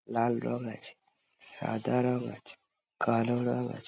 লাল রং আছে সাদা রং আছে কালো রং আছে |